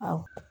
Awɔ